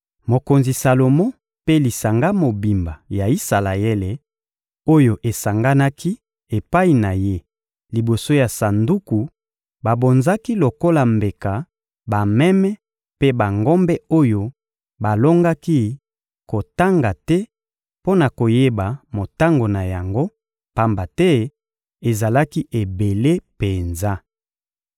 Mokonzi Salomo mpe lisanga mobimba ya Isalaele oyo esanganaki epai na ye liboso ya Sanduku babonzaki lokola mbeka bameme mpe bangombe oyo balongaki kotanga te mpo na koyeba motango na yango, pamba te ezalaki ebele penza.